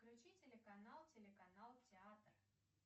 включи телеканал телеканал театр